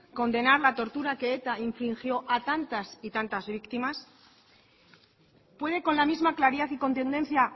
condenar la tortura que eta infligió a tantas y tantas víctimas puede con la misma claridad y contundencia